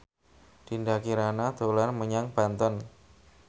Dinda Kirana dolan menyang Banten